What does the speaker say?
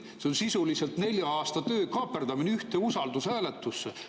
See on sisuliselt nelja aasta töö kaaperdamine ühte usaldushääletusse.